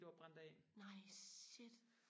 nej shit